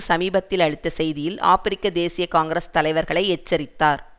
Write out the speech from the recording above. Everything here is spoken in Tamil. சமீபத்தில் அளித்த செய்தியில் ஆபிரிக்க தேசிய காங்கிரஸ் தலைவர்களை எச்சரித்தார்